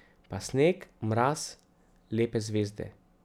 Pa sneg, mraz, lepe zvezde.